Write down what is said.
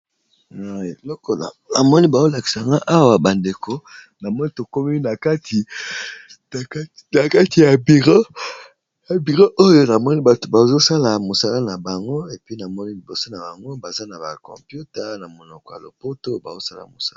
Lokola namoni bazo lakisa nga awa ba ndeko na moni tokomi na kati ya bureau, na bureau oyo namoni bato bazo sala mosala na bango epi namoni liboso na bango baza na ba computa na monoko ya lopoto bazo sala mosala.